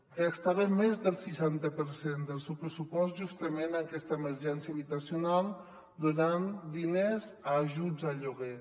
ja estava més del seixanta per cent del seu pressupost justament en aquesta emergència habitacional donant diners a ajuts al lloguer